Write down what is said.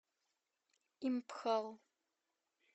импхал